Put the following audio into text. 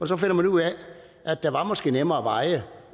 så finder ud af at der måske er nemmere veje